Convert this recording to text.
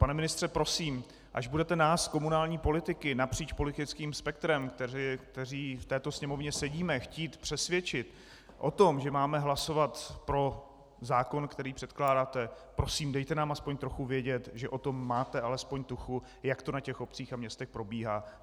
Pane ministře, prosím, až budete nás komunální politiky napříč politickým spektrem, kteří v této Sněmovně sedíme, chtít přesvědčit o tom, že máme hlasovat pro zákon, který předkládáte, prosím, dejte nám aspoň trochu vědět, že o tom máte alespoň tuchu, jak to na těch obcích a městech probíhá.